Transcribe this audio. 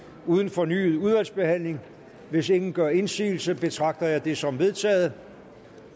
uden fornyet udvalgsbehandling hvis ingen gør indsigelse betragter jeg det som vedtaget